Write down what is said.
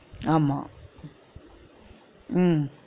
ஆமா உம்